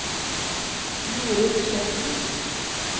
Jorid Sletten